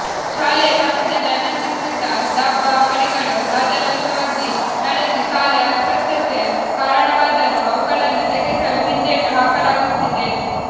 ಶಾಲೆಯ ಪಕ್ಕದಲ್ಲಿ ಅನದಿಕೃತ ಡಬ್ಬಾ ಅಂಗಡಿಗಳು ರಾಜಾರೋಷವಾಗಿ ನಡೆಸಿ ಶಾಲೆ ಅಸ್ವಚ್ಚತೆಗೆ ಕಾರಣವಾದರೂ ಅವುಗಳನ್ನು ತೆಗೆಸಲು ಹಿಂದೇಟು ಹಾಕಲಾಗುತ್ತಿದೆ